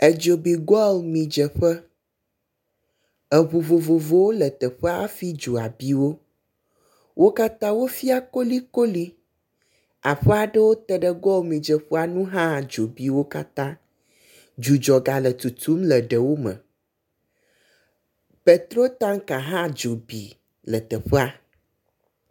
Edzo bi goil midzeƒe, eŋu vovovowo le teƒe fi dzoa bi wo. Wo katã wofia kolikolikoli. Aƒe aɖewo te ɖe goil midzeƒea nu hã dzo bi wo katã. Dzudzɔ gale tutum le ɖewo me. Petro tanka hã dzo bi le teƒea.